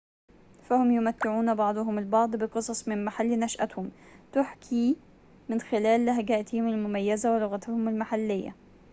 فهم يمتعون بعضهم البعض بقصص من محل نشأتهم تُحكى من خلال لهجاتهم المميزة ولغتهم المحلية